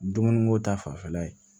Dumuni ko ta fanfɛla ye